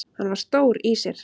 Hann var stór í sér.